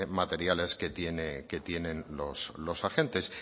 materiales que tienen los agentes